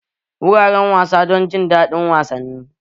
Wuraren wasa don jin daɗin wasanni.